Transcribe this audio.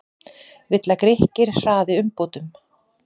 Vill að Grikkir hraði umbótum